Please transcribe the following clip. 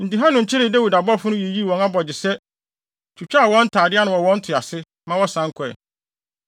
Enti Hanun kyeree Dawid abɔfo no, yii wɔn abogyesɛ, twitwaa wɔn ntade ano wɔ wɔn to ase, ma wɔsan kɔe.